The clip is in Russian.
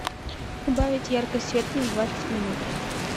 убавить яркость света на двадцать минут